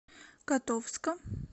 котовска